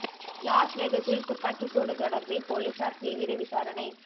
loss வெகஸில் துப்பாக்கி சூடு தொடர்பில் பொலிஸார் தீவிர விசாரணை